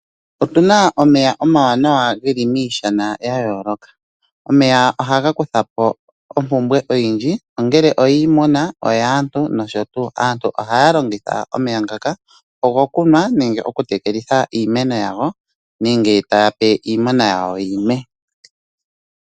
Otuna omeya omawaanawa ngeli miishana yayolokathana omeya ohaga kuthapo ompumbwe yenota kiimuna nokaantu. Aantu ohaa longitha ngaka okunwa nokutekelitha iimeno ya wo nenge taa pe iimuna ya wo yinwe.